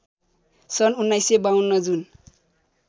सन् १९५२ जुन